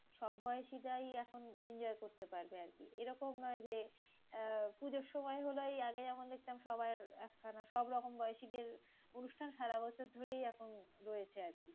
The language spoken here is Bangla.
সব বয়সীরাই এখন enjoy করতে পারবে আরকি। এরকম নয় যে আহ পুজোর সময় হলো এই আগে যেমন দেখতাম সবার একখানা সবরকম বয়সীদের অনুষ্ঠান সারা বছর ধরেই এখন রয়েছে আরকি।